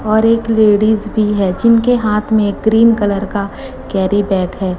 और एक लेडिज भी है जिनके हाथ में क्रीम कलर का कैरी बैग है।